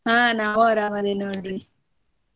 ಆ ನಾವು ಆರಾಮ್ ಅದೇವ್ ನೋಡ್ರಿ.